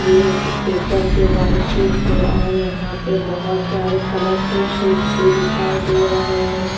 ये पेपर के white sheets है और यहां पे बहुत सारे कलरफुल शीट्स भी दिखाई दे रहे हैं।